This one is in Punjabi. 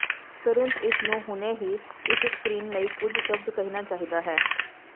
ਤੁਰੰਤ ਇਸ ਨੂੰ ਹੁਣੇ ਹੀ ਇਸ ਸਕਰੀਨ ਲਈ ਕੁਝ ਸ਼ਬਦ ਕਹਿਣਾ ਚਾਹੀਦਾ ਹੈ